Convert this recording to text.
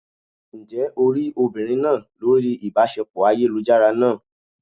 Ǹjẹ́ o rí obìnrin náà lórí ìbáṣepọ̀ ayélujára náà?